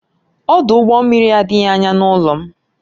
Ọdụ ụgbọ mmiri adịghị anya n'ụlọ m